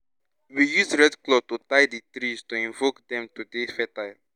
we use red cloth to tie di trees to invoke dem to dey fertile